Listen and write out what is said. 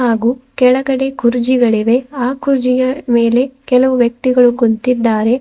ಹಾಗೂ ಕೆಳಗಡೆ ಕುರ್ಜಿಗಳಿವೆ ಆ ಕುರ್ಜಿಯ ಮೇಲೆ ಕೆಲವು ವ್ಯಕ್ತಿಗಳು ಕುಂತಿದ್ದಾರೆ.